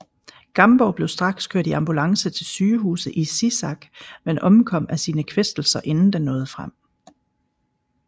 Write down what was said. Gamborg blev straks kørt i ambulance til sygehuset i Sisak men omkom af sin kvæstelser inden den nåde frem